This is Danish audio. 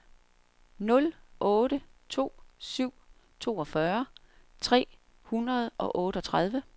nul otte to syv toogfyrre tre hundrede og otteogtredive